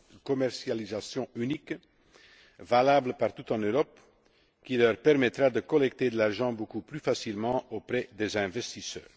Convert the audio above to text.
de commercialisation unique, valable partout en Europe, qui leur permettra de collecter de l'argent beaucoup plus facilement auprès des investisseurs.